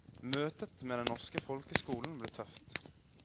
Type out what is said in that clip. Møtet med den norske folkeskolen ble tøft.